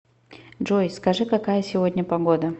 джой скажи какая сегодня погода